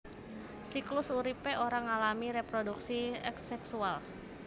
Siklus uripé ora ngalami reproduksi aseksual